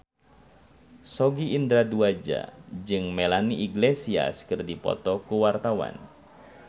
Sogi Indra Duaja jeung Melanie Iglesias keur dipoto ku wartawan